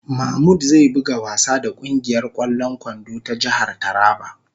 ""Mamud zai buga wasa da kungiyar kwallon kwando ta jihar Taraba ."